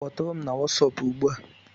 Kpọtụrụ m na Wọsọpu ugbu a!